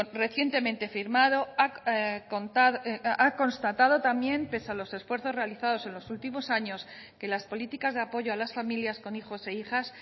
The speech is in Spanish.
recientemente firmado ha constatado también pese a los esfuerzos realizados en los últimos años que las políticas de apoyo a las familias con hijos e hijas